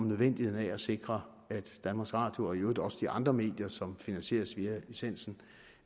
nødvendigheden af at sikre at danmarks radio og i øvrigt også de andre medier som finansieres via licensen